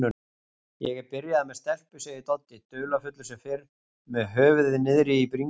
Ég er byrjaður með stelpu, segir Doddi, dularfullur sem fyrr með höfuðið niðri í bringu.